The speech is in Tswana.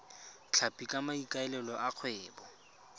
tlhapi ka maikaelelo a kgwebo